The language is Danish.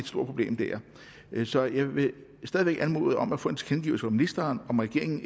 problem dér så jeg vil stadig væk anmode om at få en tilkendegivelse fra ministeren om at regeringen